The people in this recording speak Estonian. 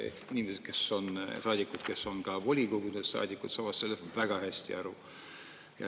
Inimesed, kes on ka volikogude saadikud, saavad sellest väga hästi aru.